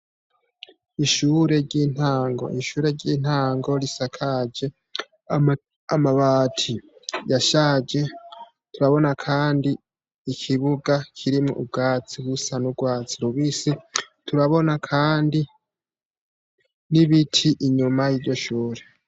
Ishure ry'intango. Ishure ry'intango risakaje amabati yashaje. Turabona kandi ikibuga kirimwo ubwatsi busa n'urwatsi rubisi, turabona kandi n'ibiti inyuma y'iryo shure.